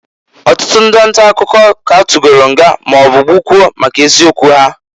Ọtụtụ ndị ntakụkọ k'a tugolu nga maọbụ gbukwuo maka eziokwu ha.